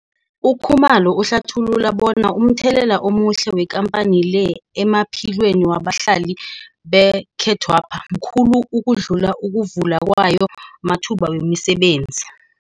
UKhumalo uhlathulula bona umthelela omuhle wekampani le emaphilweni wabahlali bekhethwepha mkhulu ukudlula ukuvula kwayo amathuba wemisebenzi.